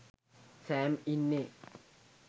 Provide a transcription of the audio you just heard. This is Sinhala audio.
සෑම් ඉන්නේ